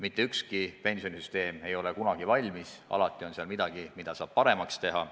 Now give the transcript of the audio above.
Mitte ükski pensionisüsteem ei ole kunagi valmis, alati on midagi, mida saab paremaks teha.